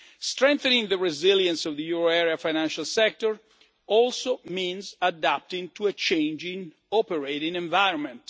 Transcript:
of. Strengthening the resilience of the euro area financial sector also means adapting to a changing operating environment.